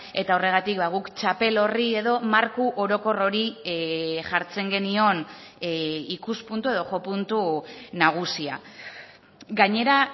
eta horregatik guk txapel horri edo marko orokor hori jartzen genion ikuspuntu edo jo puntu nagusia gainera